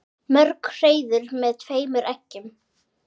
Mörg hreiður með tveimur eggjum.